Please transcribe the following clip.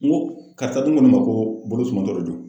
N ko karisa dun n go ne ma ko bolo suman de don